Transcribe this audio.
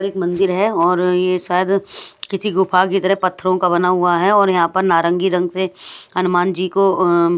एक मंदिर है और ये शायद किसी गुफा की तरह पत्थरों का बना हुआ है और यहाँ पर नारंगी रंग से हनुमान जी को--